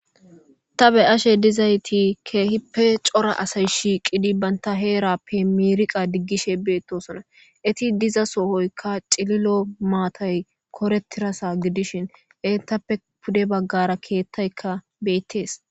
ta be ashe dizayti keehippe cora asay shiqidi banta heerappe miiriqa diggishe beettosona iti diza sohoykka cililo maatay koretirasa gidishin intappe pude baggara keettaykka beettees